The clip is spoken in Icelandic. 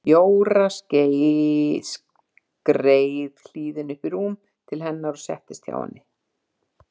Jóra skreið hlýðin upp í rúm til hennar og settist hjá henni.